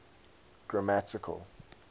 grammatical